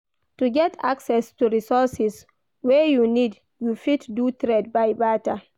To get access to resources wey you need you fit do trade by barter